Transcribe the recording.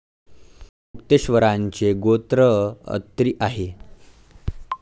मुक्तेश्वरांचे गोत्र अत्री आहे.